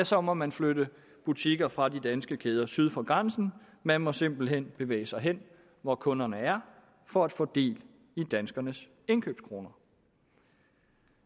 så må man flytte butikker fra de danske kæder syd for grænsen man må simpelt hen bevæge sig hen hvor kunderne er for at få del i danskernes indkøbskroner